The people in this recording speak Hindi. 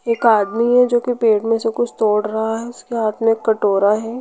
एक आदमी है जो के पेड़ में से कुछ तोड़ रहा है उसके हाथ में एक कटोरा है।